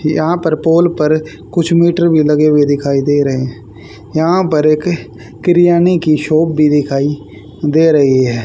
यहां पर पोल पर कुछ मीटर भी लगे हुए दिखाई दे रहे हैं यहां पर एक किरयाने की शॉप भी दिखाई दे रही है।